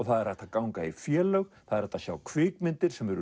það er hægt að ganga í félög það er hægt að sjá kvikmyndir sem eru